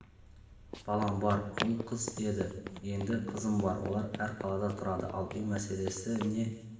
балам бар ұл қыз еді енді қызым бар олар әр қалада тұрады ал үй мәселесі не